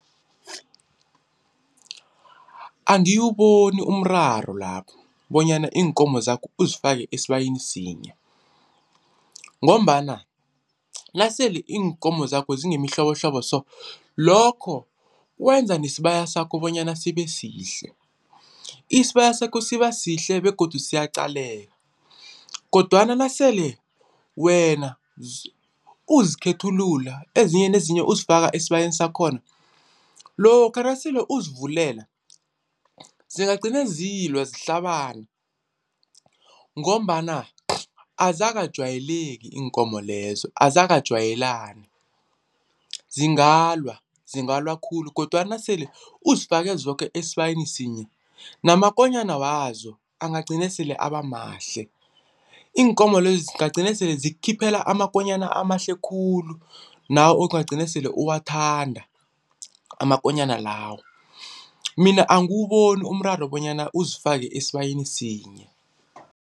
Angiwuboni umraro lapho bonyana iinkomo zakho uzifake esibayeni sinye ngombana nasele iinkomo zakho zingemihlobohlobo so lokho wenza nesibaya sakho bonyana sibe sihle. Isibaya sakho siba sihle begodu siyaqaleke kodwana nasele wena uzikhethulula, ezinye nezinye uzifaka esibayeni sakhona, lokha nasele uzivulela zingagcina zilwa zihlabana ngombana azakajwayeleki iinkomo lezo azakajwayelani. Zingalwa, zingalwa khulu kodwana nasele uzifake zoke esibayeni sinye namakonyana wazo angagcina sele abamahle, iinkomo lezi zingagcina sele zikukhiphela amakonyana amahle khulu nawo okungagcina sele uwuthanda amakonyana lawo, mina angiwuboni umraro bonyana uzifake esibayeni sinye.